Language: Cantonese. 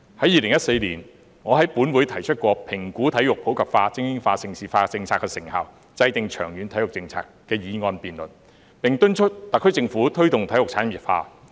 2014年，我在本會曾提出"評估'體育普及化、精英化、盛事化'政策的成效，制訂長遠體育政策"的議案辯論，並敦促特區政府推動體育產業化。